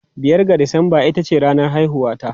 Biyar ga Disamba ita ce ranar haihuwata.